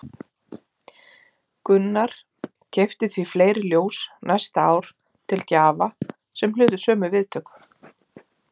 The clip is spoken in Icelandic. Gunnar keypti því fleiri ljós næsta ár til gjafa sem hlutu sömu viðtökur.